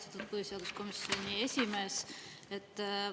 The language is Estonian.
Austatud põhiseaduskomisjoni esimees!